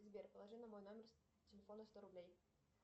сбер положи на мой номер телефона сто рублей